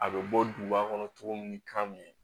A bɛ bɔ duguba kɔnɔ cogo min ni kan ye